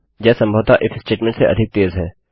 यह सम्भवतः if statement से अधिक तेज है